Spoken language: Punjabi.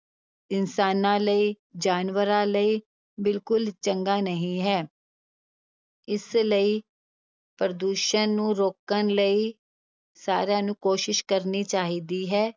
ਇਨਸਾਨਾਂ ਲਈ, ਜਾਨਵਰਾਂ ਲਈ ਬਿਲਕੁਲ ਚੰਗਾ ਨਹੀਂ ਹੈ ਇਸ ਲਈ ਪ੍ਰਦੂਸ਼ਣ ਨੂੰ ਰੋਕਣ ਲਈ ਸਾਰਿਆਂ ਨੂੰ ਕੋਸ਼ਿਸ਼ ਕਰਨੀ ਚਾਹੀਦੀ ਹੈ,